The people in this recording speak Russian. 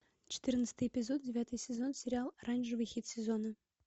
четырнадцатый эпизод девятый сезон сериал оранжевый хит сезона